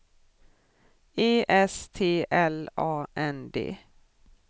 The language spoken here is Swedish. E S T L A N D